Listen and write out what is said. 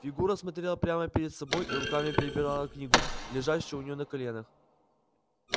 фигура смотрела прямо перед собой и руками перебирала книгу лежащую у нее на коленях